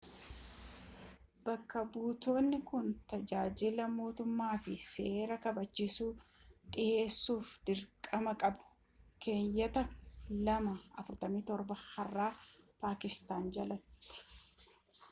bakka butonni kun tajaajila mootummaa fi seera kabachiisu dhiheessuf dirqamaa qabu keeyyate 247 heera pakistaan jalati